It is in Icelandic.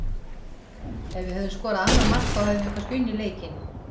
Ef við hefðum skorað annað mark þá hefðum við kannski unnið leikinn.